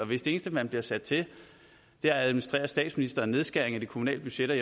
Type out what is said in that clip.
hvis det eneste man bliver sat til er at administrere statsministerens nedskæring af de kommunale budgetter